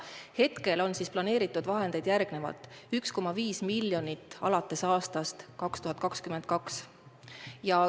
Hetkel on vahendeid planeeritud järgmiselt: 1,5 miljonit alates aastast 2022.